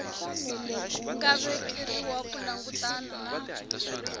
nga vekeriwa ku langutana na